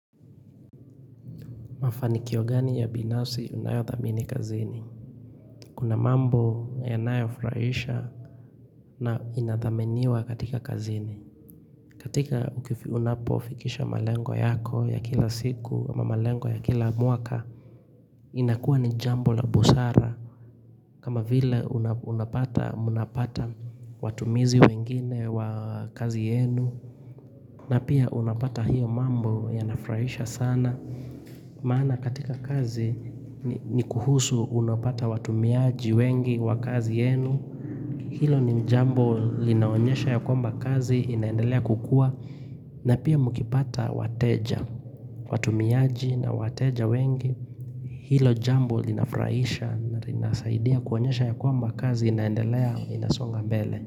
Mafanikio gani ya binafsi unayo thamini kazini Kuna mambo yanayo furahisha na inathaminiwa katika kazini katika unapofikisha malengo yako ya kila siku ama malengo ya kila mwaka inakuwa ni jambo la busara kama vile mnapata watumizi wengine wa kazi yenu na pia unapata hiyo mambo yanafurahisha sana Maana katika kazi ni kuhusu unapata watumiaji wengi wa kazi yenu Hilo ni jambo linaonyesha ya kwamba kazi inaendelea kukua na pia mkipata wateja, watumiaji na wateja wengi Hilo jambo linafurahisha na linasaidia kuonyesha ya kwamba kazi inaendelea inasonga mbele.